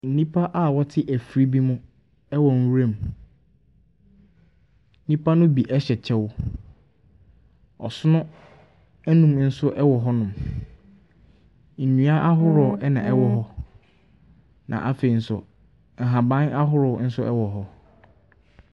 Nnipa a wɔte afiri bi mu wɔ nwuram. Nnipa no bi hyɛ kyɛw. Ɔsono nnan nso wɔ hɔnom. Nnua ahodoɔ na ɛwɔ hɔ, na afei nso, nhaban ahoroɔ nso wɔ hɔ.